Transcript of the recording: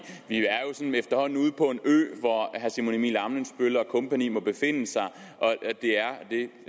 ø hvor herre simon emil ammitzbøll og kompagni må befinde sig